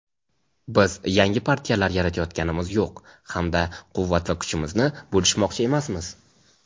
Biz yangi partiyalar yaratayotganimiz yo‘q hamda quvvat va kuchimizni bo‘lishmoqchi emasmiz.